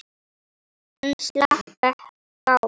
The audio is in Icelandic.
Hann slapp þá.